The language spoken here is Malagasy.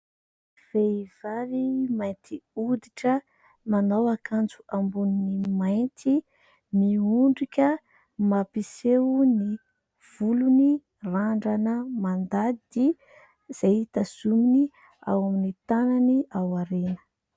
Vehivavy mainty hoditra, manao akanjo ambony mainty. Miondrika mampiseho ny volony randrana mandady, izay tazominy ao amin'ny tànany ao aorina.